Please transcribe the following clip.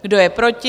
Kdo je proti?